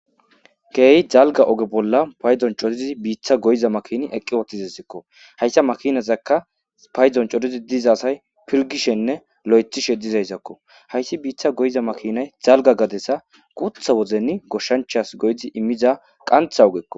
Geeyi jalga oge bolla payzon cotizi biitha goyiza makini eqqi wootizazakko hayssa makinazaka payzon cotizi diza asay pirgishenne lo'ethishe dizayzakko hayssi biitha goyiza makinay jalga gadesa gutha wozeni goshshanchas goydi immiza qantha ogekko.